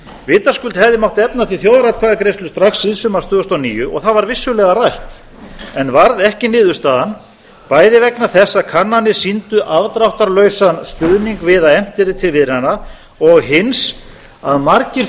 vitaskuld hefði mátt efna til þjóðaratkvæðagreiðslu strax síðsumars tvö þúsund og níu og það var vissulega rætt en varð ekki niðurstaðan bæði vegna þess að kannanir sýndu afdráttarlausan stuðning við að efnt yrði til viðræðna og hins að margir